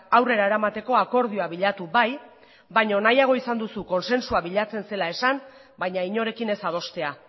aurrera eramateko akordioa bilatu bai baino nahiago izan duzu kontsensua bilatzen zela esan baina inorekin ez adostea